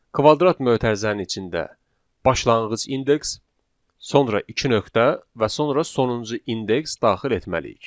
Kvadrat mötərizənin içində başlanğıc indeks, sonra iki nöqtə və sonra sonuncu indeks daxil etməliyik.